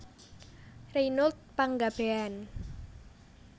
Reynold Panggabean